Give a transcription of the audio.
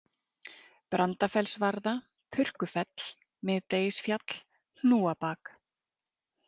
Brandafellsvarða, Purkufell, Miðdegisfjall, Hnúabak